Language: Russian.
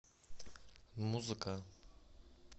музыка